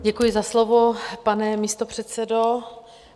Děkuji za slovo, pane místopředsedo.